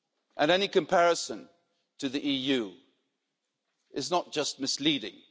was. And any comparison to the EU is not just misleading.